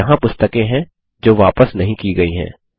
और यहाँ पुस्तकें हैं जो वापस नहीं की गई हैं